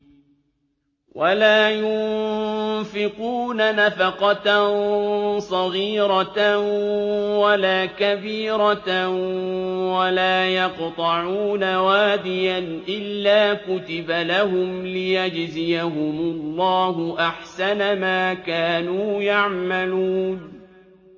وَلَا يُنفِقُونَ نَفَقَةً صَغِيرَةً وَلَا كَبِيرَةً وَلَا يَقْطَعُونَ وَادِيًا إِلَّا كُتِبَ لَهُمْ لِيَجْزِيَهُمُ اللَّهُ أَحْسَنَ مَا كَانُوا يَعْمَلُونَ